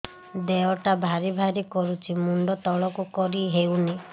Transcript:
ଦେହଟା ଭାରି ଭାରି କରୁଛି ମୁଣ୍ଡ ତଳକୁ କରି ହେଉନି